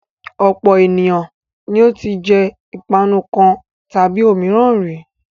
Ọ̀pọ̀ ènìyàn ni ó ti jẹ ìpanu kan tàbí òmíràn rí.